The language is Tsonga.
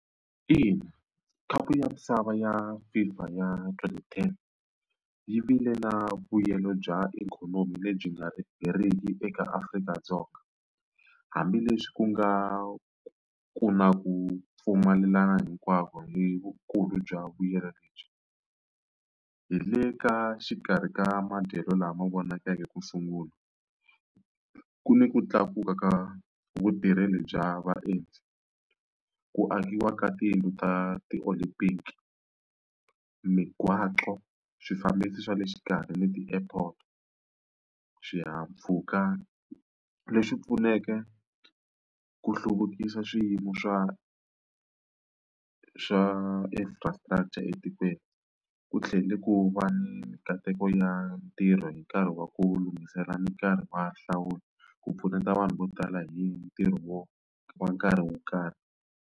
Ina khapu ya misava ya FIFA ya twenty ten yi vile na vuyelo bya ikhonomi lebyi nga heriki eka Afrika-Dzonga hambileswi ku nga ku na ku pfumelelana hinkwavo hi vukulu bya vuyelo lebyi hi le ka xikarhi ka madyelo lama vonakaka ku sungula ku ni ku tlakuka ka vutirheli bya vaendzi ku akiwa ka tiyindlu ta ti-Olympic migwaqo swifambisi swa le xikarhi ni ti-airport xihahampfhuka lexi pfuneke ku hluvukisa swiyimo swa xa infrastructure etikweni ku tlhele ku va ni mikateko ya ntirho hi nkarhi wa ku lunghisela nkarhi wa hlawula ku pfuneta vanhu vo tala hi ntirho wo wa nkarhi wo karhi.